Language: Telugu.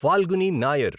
ఫాల్గుని నాయర్